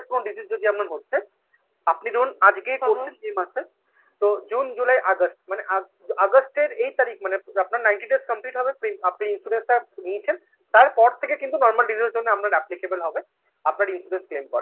disease যদি এমন হচ্ছে আপনি ধরুন আজকেই করছেন যে মাসে তো জুন জুলাই আগস্ট, মানে আগস্টের এই তারিখ মানে আপনার ninety days complete হবে আপনি insurance টা নিয়ছেন তারপর থেকে কিন্তু normal disease র জন্য আপনার applicable হবে আপনার insurance claim করার জন্য